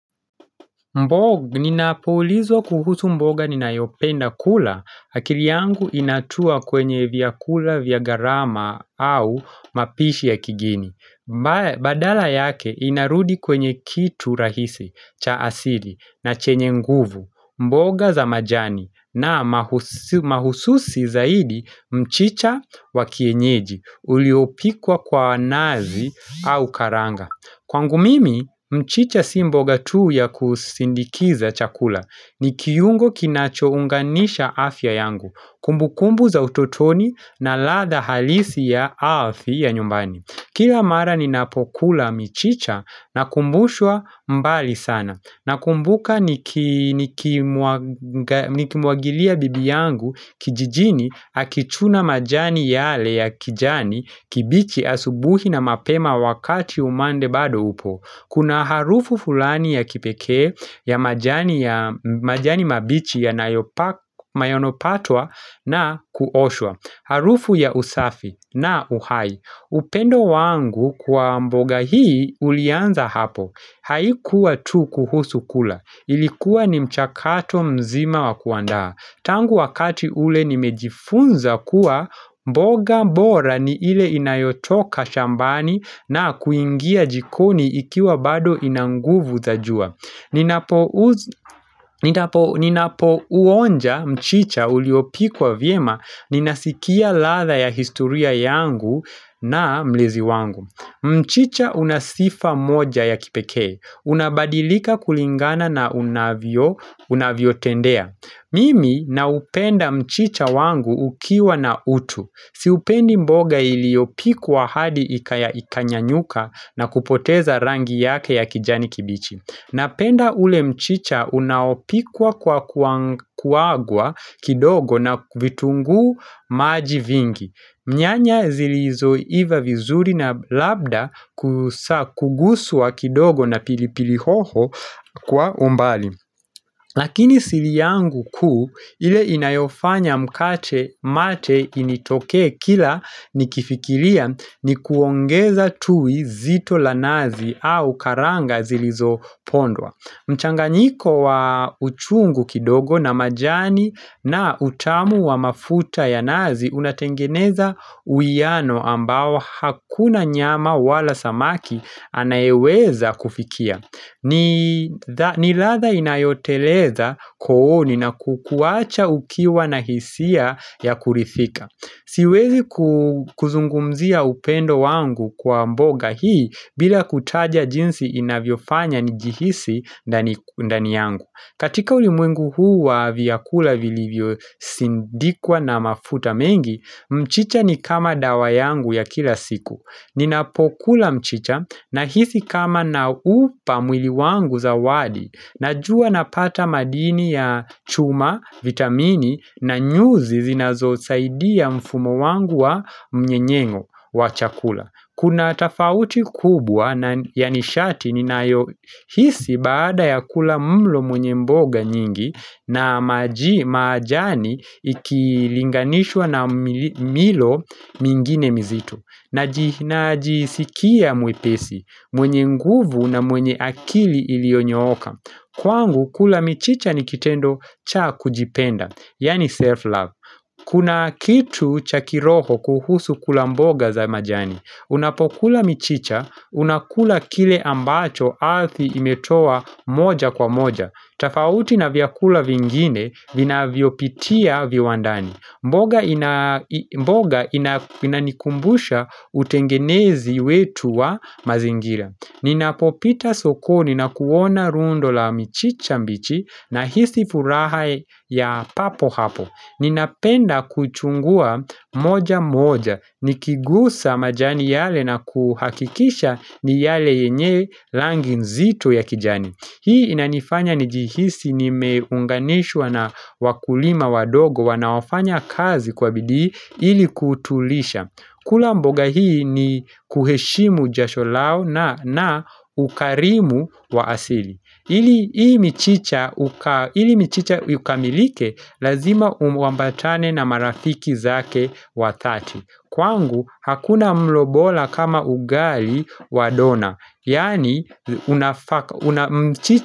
Mboga, ninapoulizwa kuhusu mboga ninayopenda kula, akili yangu inatua kwenye vyakula vya gharama au mapishi ya kigeni. Badala yake inarudi kwenye kitu rahisi cha asili na chenye nguvu, mboga za majani na mahususi zaidi mchicha wakienyeji uliopikwa kwa nazi au karanga. Kwangu mimi mchicha si mboga tuu ya kusindikiza chakula. Ni kiungo kinacho unganisha afya yangu, kumbukumbu za utotoni na ladha halisi ya afya nyumbani. Kila mara ninapokula michicha na kumbushwa mbali sana. Nakumbuka nikimwangalia bibi yangu kijijini akichuna majani yale ya kijani kibichi, asubuhi na mapema wakati umande bado upo. Kuna harufu fulani ya kipekee ya majani mabichi yanayopatwa na kuoshwa Harufu ya usafi na uhai upendo wangu kwa mboga hii ulianza hapo Haikuwa tu kuhusu kula Ilikuwa ni mchakato mzima wakuandaa tangu wakati ule nimejifunza kuwa, mboga bora ni ile inayotoka shambani na kuingia jikoni ikiwa bado inanguvu za jua, Ninapouza Ninapo uonja mchicha uliopikwa vyema Ninasikia ladha ya historia yangu na mlezi wangu. Mchicha unasifa moja ya kipekee Unabadilika kulingana na unavyo tendea Mimi na upenda mchicha wangu ukiwa na utu Sipendi mboga iliopikwa hadi ikanya nyuka na kupoteza rangi yake ya kijani kibichi. Napenda ule mchicha unaopikwa kwa kuagwa kidogo, na vitungu maji vingi. Nyanya ziliizoiva vizuri na labda kuguswa kidogo na pilipili hoho kwa umbali. Lakini siri yangu kuu ile inayofanya mate initoke kila nikifikiria ni kuongeza tui zito la nazi au karanga zilizopondwa. Mchanganiko wa uchungu kidogo na majani na utamu wa mafuta ya nazi unatengeneza uiano ambao hakuna nyama wala samaki anayeweza kufikia. Ni latha inayoteleza kooni na kukuacha ukiwa na hisia ya kuridhika. Siwezi kuzungumzia upendo wangu kwa mboga hii bila kutaja jinsi inavyo fanya nijihisi ndani yangu, katika ulimwengu huu wa vyakula vilivyo sindikwa na mafuta mengi mchicha ni kama dawa yangu ya kila siku Ninapokula mchicha nahisi kama naupa mwili wangu zawadi. Najua napata madini ya chuma, vitamini na nyuzi zinazo saidia mfumo wangu wa mnyenyeng'o wa chakula Kuna atafauti kubwa na yanishati ninayo hisi baada ya kula mlo mwenye mboga nyingi na majani ikilinganishwa na milo mingine mizito na jisikia mwepesi, mwenye nguvu na mwenye akili ilionyooka. Kwangu, kula mchicha nikitendo cha kujipenda, yani self-love Kuna kitu chakiroho kuhusu kula mboga za majani Unapokula michicha, unakula kile ambacho ardhi imetoa moja kwa moja tofauti na vyakula vingine, vinavyopitia viwandani mboga inanikumbusha utengenezi wetu wa mazingira Ninapopita sokoni, nakuona rundo la michicha mbichi nahisi furaha ya papo hapo Ninapenda kuchagua moja moja, nikigusa majani yale na kuhakikisha ni yale yenye rangi nzito ya kijani. Hii inanifanya nijihisi nimeunganishwa na wakulima wadogo wanaofanya kazi kwa bidii ili kutulisha. Kula mboga hii ni kuheshimu jasho lao na ukarimu wa asili. Ili mchicha ukamilike lazima uambatane na marafiki zake wa dhati Kwangu hakuna mlo bora kama ugali wa dona Yani unafaka.